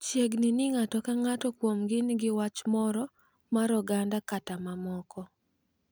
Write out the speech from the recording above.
Chiegni ni ng’ato ka ng’ato kuomgi nigi wach moro mar oganda kata mamoko.